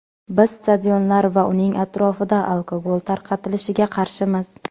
Biz stadionlar va uning atrofida alkogol tarqatilishiga qarshimiz.